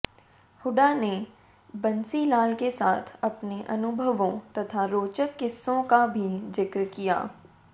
हुड्डा ने बंसीलाल के साथ अपने अनुभवों तथा रोचक किस्सों का भी जिक्र किया